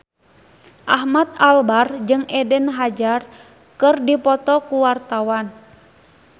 Ahmad Albar jeung Eden Hazard keur dipoto ku wartawan